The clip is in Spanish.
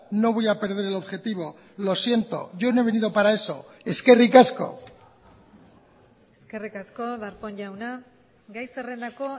no voy a perder el objetivo lo siento yo no he venido para eso eskerrik asko eskerrik asko darpón jauna gai zerrendako